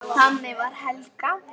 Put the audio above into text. Þannig var Helga.